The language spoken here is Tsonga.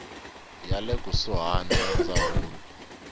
ya le kusuhani ya ndzawulo